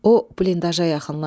O blindaşaya yaxınlaşdı.